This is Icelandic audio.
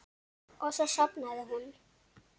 Og svo sofnaði hún.